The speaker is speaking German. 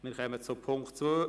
Wir kommen zu Punkt 2.